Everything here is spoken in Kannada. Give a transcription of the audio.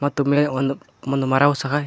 ಮತ್ತು ಮೇ ಒಂದು ಒಂದ್ ಮರವು ಸಹ--